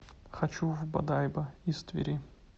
хочу в бодайбо из твери